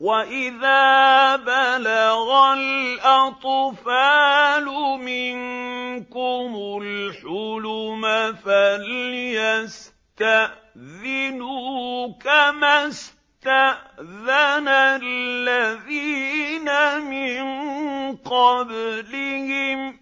وَإِذَا بَلَغَ الْأَطْفَالُ مِنكُمُ الْحُلُمَ فَلْيَسْتَأْذِنُوا كَمَا اسْتَأْذَنَ الَّذِينَ مِن قَبْلِهِمْ ۚ